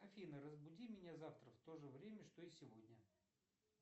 афина разбуди меня завтра в то же время что и сегодня